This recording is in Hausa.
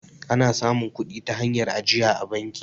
ana samun kudi ta hanyar ajiya a banki